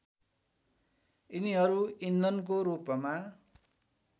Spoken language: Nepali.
यिनीहरू इन्धनको रूपमा